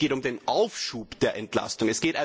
Es geht um den Aufschub der Entlastung.